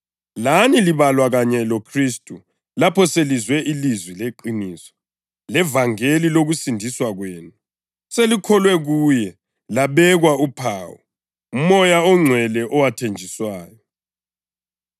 Lani labalwa kanye loKhristu lapho selizwe ilizwi leqiniso, levangeli lokusindiswa kwenu. Selikholwe kuye, labekwa uphawu, uMoya oNgcwele owathenjiswayo,